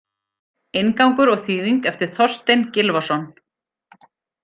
Inngangur og þýðing eftir Þorstein Gylfason.